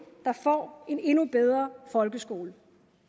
der får en endnu bedre folkeskole